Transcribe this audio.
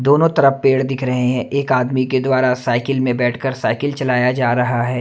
दोनों तरफ पेड़ दिख रहे है एक आदमी के द्वारा साइकिल में बैठकर साइकिल चलाया जा रहा है।